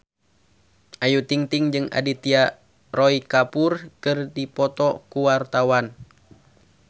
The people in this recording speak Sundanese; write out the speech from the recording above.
Ayu Ting-ting jeung Aditya Roy Kapoor keur dipoto ku wartawan